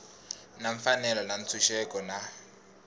na mfanelo ya ntshunxeko na